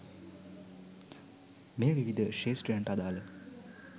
මෙය විවිධ ක්‍ෂේත්‍රයන්ට අදාළ